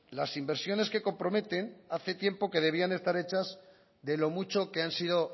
las inversiones que comprometen hace tiempo que debían estar hechas de lo mucho que han sido